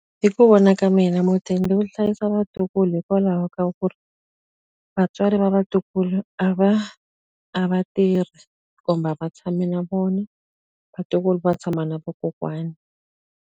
Hi ku vona ka mina mudende wu hlayisa vatukulu hikwalaho ka ku ri, vatswari va vatukulu a va a va tirhi. Kumbe a va tshami na vona, vatukulu va tshama na vakokwani.